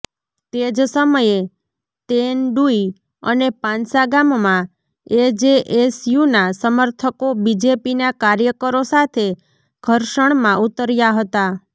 તે જ સમયે તેંડુઇ અને પાંસા ગામમાં એજેએસયુના સમર્થકો બીજેપીના કાર્યકરો સાથે ઘર્ષણમાં ઊતર્યા હતા